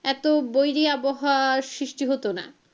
এতো বৈরি আবহাওয়ার সৃষ্টি হতো না।